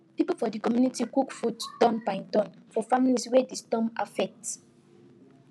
people for the community cook food turn by turn for families wey the storm affect